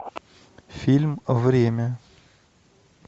фильм время